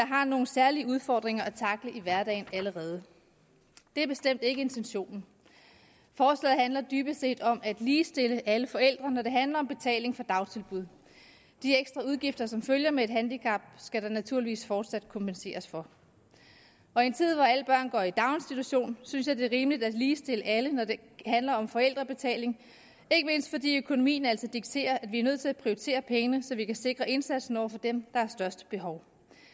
har nogle særlige udfordringer at tackle i hverdagen det er bestemt ikke intentionen forslaget handler dybest set om at ligestille alle forældre når det handler om betaling for dagtilbud de ekstra udgifter som følger med et handicap skal der naturligvis fortsat kompenseres for og i en tid hvor alle børn går i daginstitution synes jeg det er rimeligt at ligestille alle når det handler om forældrebetaling ikke mindst fordi økonomien altså dikterer at vi er nødt til at prioritere pengene så vi kan sikre indsatsen over for dem der har størst behov